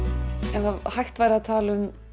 ef hægt væri að tala um